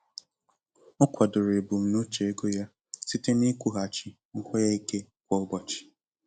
Ọ kwadoro ebumnuche ego ya site n'ikwughachi nkwenye ike kwa ụbọchị.